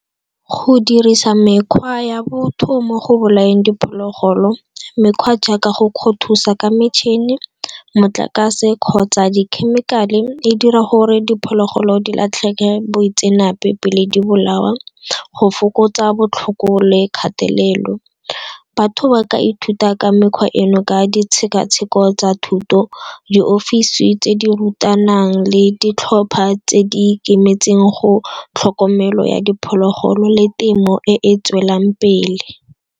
Go dirisa mekgwa ya botho mo go bolayeng diphologolo mekgwa jaaka go kgothosa ka metšhine, motlakase kgotsa dikhemikale e dira gore diphologolo di latlhege boitseanape pele di bolawa go fokotsa botlhoko le kgatelelo. Batho ba ka ithuta ka mekgwa eno ka ditshekatsheko tsa thuto di ofisi tse di rutanang le ditlhopha tse di kemetseng go tlhokomelo ya diphologolo le temo e e tswelang pele.